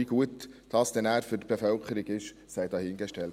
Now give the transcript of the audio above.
Wie gut dies für die Bevölkerung ist, sei dahingestellt.